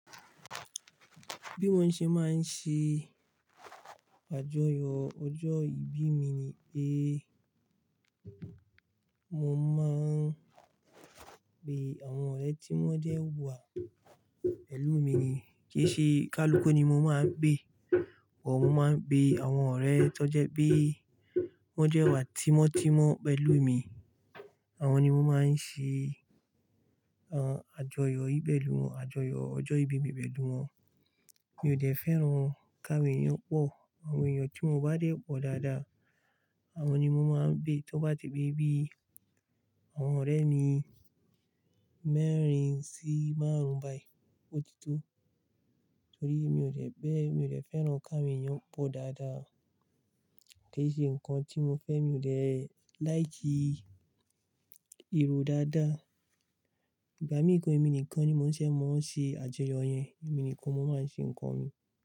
Bí mo ṣe máa ń ṣe àjọyọ̀ ọjọ́ ìbí mi ni pé mo máa ń pe àwọn ọ̀rẹ́ tí wọ́n jẹ́ wà pẹ̀lú mi ni. Kì í ṣe kalukú ni mo máa ń pé, but mo máa ń bé àwọn ọ̀rẹ́ tó jẹ́ pé wọ́n jẹ́ wà tímọ́tímọ́ pẹ̀lú mi. Àwọn ni mo máa ń ṣe, àjọyọ̀ yii pelú wọn, àjọyọ̀ ọjọ́ ìbí pẹ̀lú wọn. Mi ò dẹ́ fẹ́ràn káwon èyàn pọ̀. Àwọn ènìyàn tí mo bá dé pọ̀n dáadáa, àwọn ni mo máa ń gbé. Tó bá ti bi bí i àwọn ọ̀rẹ́ mi mẹ́rin sí márùn ún bá i ó ti tó. Torí mi ò dẹ́ bẹ́, mi ò dẹ́ fẹ́ràn k’áwọn èèyàn pọ̀ dáadáa. Kì í ṣe nǹkan tí mo fẹ́, mi ò dẹ́ láìki ìrò dáadáa. Ìgbà míì gan èmi nìkan ni mo ń ṣẹ̀ mọ́ ń ṣe àjọyọ̀ yẹn. Emi nìkan mo máa ń ṣe nǹkan mi.